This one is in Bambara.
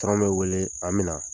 Patɔrɔn b'i wele an bɛ na